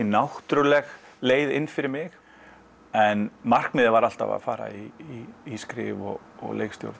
náttúrleg leiði inn fyrir mig en markmiðið var alltaf að fara í í skrifa og leikstjórn